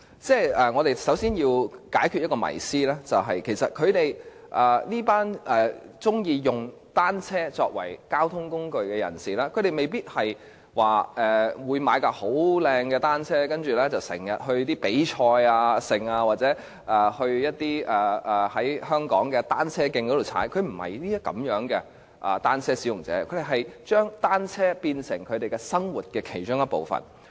首先，我要解開一種迷思，也就是這些喜歡以單車作為交通工具的人士未必會購買一輛很漂亮的單車，然後經常參加比賽或到香港的單車徑騎單車，他們並非這樣的單車使用者，而是將單車變成他們生活的一部分。